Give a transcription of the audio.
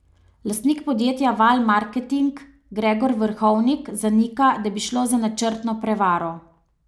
Lastnik podjetja Val marketing Gregor Vrhovnik zanika, da bi šlo za načrtno prevaro.